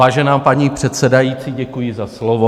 Vážená paní předsedající, děkuji za slovo.